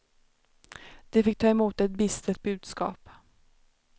De fick ta emot ett bistert budskap.